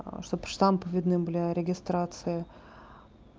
чтоб штампы видны были о регистрации